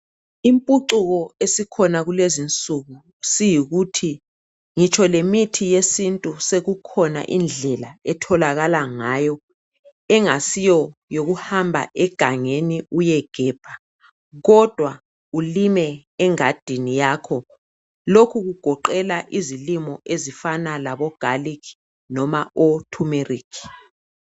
Impucuko esikhona kulezi insuku siyikuthi ngitsho lemithi yesintu sekukhona indlela etholakala ngayo engasiyo yokuhamba egengeni uyegebha kodwa kulime engadini yakho. Lokhu kugoqela izilimo ezifana labogalikhi noba othumerikhi.